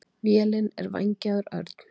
Vélin er vængjaður örn.